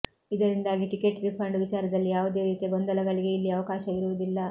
ಇದರಿಂದಾಗಿ ticket refund ವಿಚಾರದಲ್ಲಿ ಯಾವುದೇ ರೀತಿಯ ಗೊಂದಲಗಳಿಗೆ ಇಲ್ಲಿ ಅವಕಾಶವಿರುವುದಿಲ್ಲ